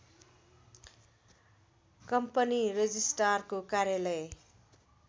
company रजिष्ट्रारको कार्यालय